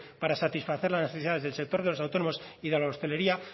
para satisfacer las necesidades de los autónomos y de la hostelería